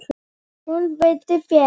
Hún vildi vera.